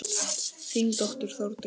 Þín dóttir Þórdís.